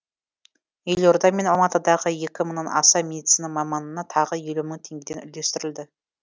елорда мен алматыдағы екі мыңнан аса медицина маманына тағы елу мың теңге үлестірілді